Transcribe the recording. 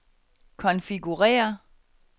konfigurér